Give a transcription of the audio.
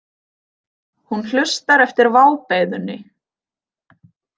Hún hlustar eftir vábeiðunni.